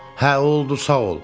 Hə, oldu, sağ ol.